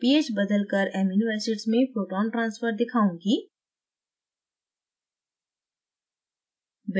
मैं ph बदलकर amino acids में proton transfer दिखाऊँगी